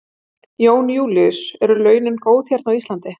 Jón Júlíus: Eru launin góð hérna á Íslandi?